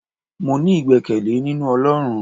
mo ní igbekele ninú olorún